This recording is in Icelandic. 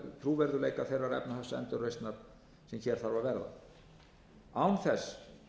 trúverðugleika þeirrar efnahagsendurreisnar sem hér þarf að verða án þess